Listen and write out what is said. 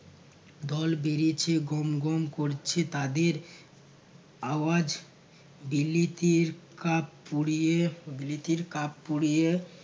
দল বেড়েছে গম গম করছে তাদের আওয়াজ বিলিতির কাপ পুড়িয়ে বিলিতির কাপ পুড়িয়ে